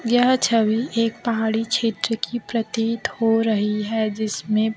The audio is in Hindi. यह छवि एक पहाड़ी क्षेत्र की प्रतीत हो रही है जिसमें--